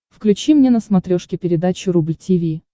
включи мне на смотрешке передачу рубль ти ви